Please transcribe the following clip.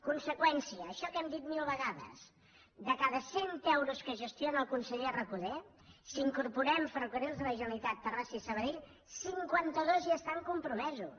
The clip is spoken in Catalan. conseqüència això que hem dit mil vegades de cada cent euros que gestiona el conseller recoder si hi incorporem ferrocarrils de la generalitat terrassa i sabadell cinquanta dos ja estan compromesos